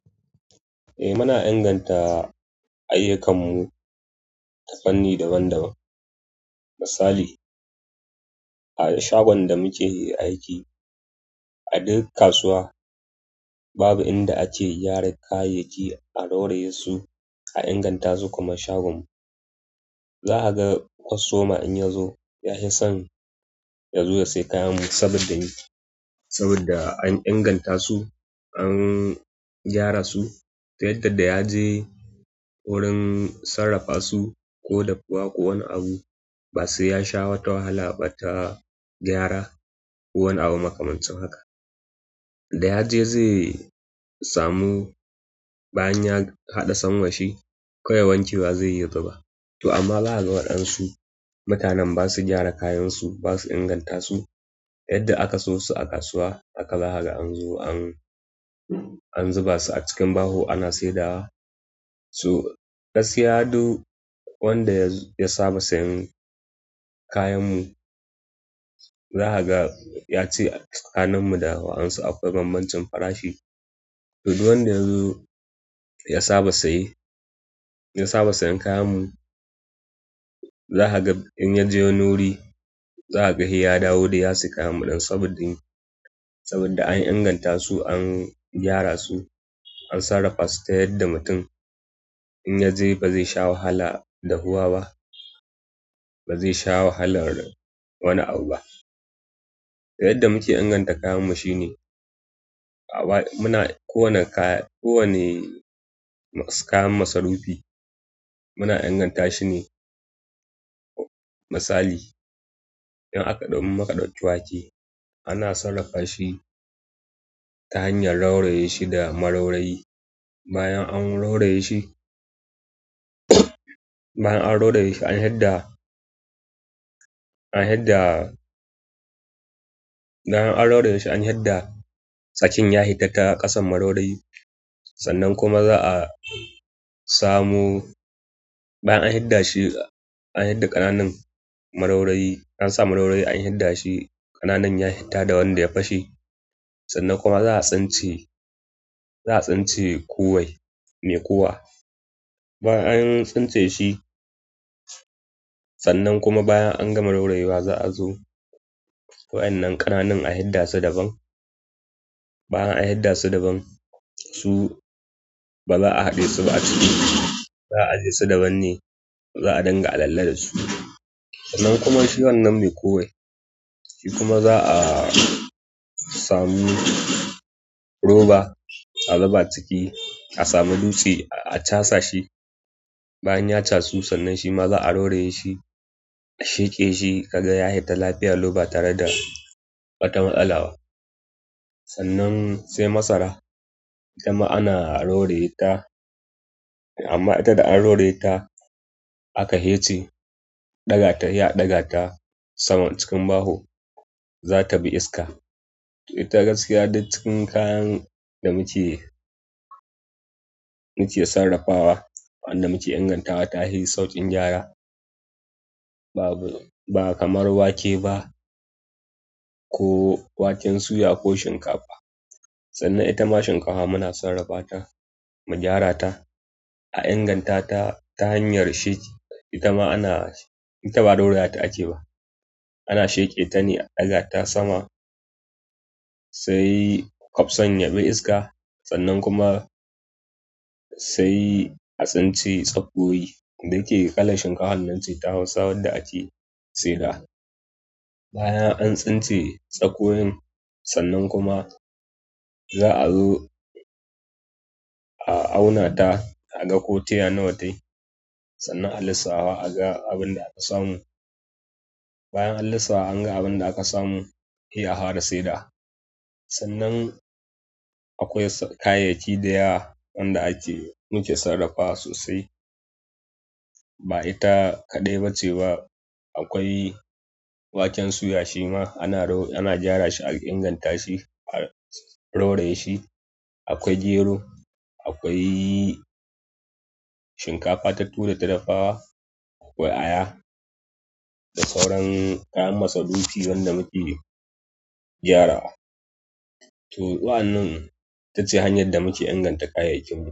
Eh muna inganta ayyukan mu ta fanni daban -daban. Misali a shagon da muke aiki a duk kasuwa babu inda ake gyara kayayyaki a ɗaure su a inganta su kaman shagon mu za a ga kwas toma in yazo ya fi son yazo ya sai kayanmu sabidda me? Sabidda an inganta su, an gyara su ta yadda da yaje wurin sarrafa su ko dafuwa ko wani abu ba sai yasha wata wahala ba ta gyara ko wani abu makamancin haka. Da yaje zai samu, bayan ya haɗa son washi, kowai wanke wa zai yi ya zuba. To amma za, a ga waɗansu mutanen basu gyara kayansu, basu inganta su. Yadda aka so su a kasuwa aka zaga anzo an, -an zuba su a cikin baho ana saidawa su. Gaskiya du wanda ya saba sayan kayanmu, zaka ga yace ƙanin mu da wa'ansu akwai banbancin farashi. To du wanda yazo ya saba saye, ya saba sayan kayanmu, zaka ga in yaje wuri zaka ga heya dawo dai ya saya kayan muɗan. Sa bodde saboda an inganta su an gyara su an sarrafasu ta yadda mutum in yaje bazai sha wahala dahuwa ba bazai sha wahalar wani abu ba yadda muke inganta kayanmu shine, muna kowane kaya, kowani kayan masarufi muna inganta shine. Misali, in aka ɗau in muka ɗauki wake, ana sarrafa shi ta hanyar rauraye shi da maraurayi. Bayan an roraye shi, bayan an roraye shi an hidda, an hidda, bayan an roraye shi an hidda, tsakin ya hitata ƙasan maraurayi. Sannan kuma za a samo bayan an hidda shi, an hidda ƙananan maraurayi. Ansa maraurayi an hidda shi ƙananan ya hitta da wanda ya fashe. Sannan kuma za a tsince, za a tsince kowai ne kowa. Bayan an tsince shi, sannan kuma bayan an gama rorayewa za a zo. Wa'inan ƙananan a hidda su daban. Bayan an hidda su daban, su ba za a haɗe su ba a ciki. Za a jesu daban ne, za a danga alalla su. Sannan kuma shi wannan me kore. Shi kuma za a samu roba a zaɓa ciki, a samu dutse a chasa shi. Bayan ya chasu, sannan shima za a roraye shi, a sheƙe shi kaga ya hita lafiya lau ba tare da wata matsala ba. Sannan sai masara, itama ana roraye ta amma ita da an roraye ta aka hece, ɗagata ya ɗaga ta sama cikin baho, za ta bi iska. Ita gaskiya duk cikin kayan da muke, --muke sarrafawa wanda muke ingantawa ta hi sauƙin gyara. Babu, ba kamar wake ba ko waken suya ko shinkafa. Sannan itama shinkaha muna sarrafata, mu gyara ta. A inganta ta-ta hanyar sheƙi. Itama ana, ita ba roraye ta ake ba. Ana sheƙe tane a ɗaga ta sama sai ƙafson yabi iska. Sannan kuma sai a tsince tsakuwoyi da ke ƙalan shinkaha nan ce ta Hausa wanda ake seda. Bayan an tsince tsakowoyin, sannan kuma za a zo a auna ta a ga ko taya nawane. Sannan a lissaha a ga abin da aka samu. Bayan an lissawa an ga abin da aka samu, he, a hara seda. Sannan akwai so kayayyaki da yawa wanda ake muke sarrafawa sosai ba ita kaɗai ba ce ba. Akwai waken suya shima ana, ro ana gyara shi a inganta shi, a roraye shi. Akwai gero, akwai shinkafa ta tura ta dafawa. Akwai aya da sauran kayan masarufi wanda muke gyarawa. To wa'annan itace hanyad da muke inganta kayayyakinmu.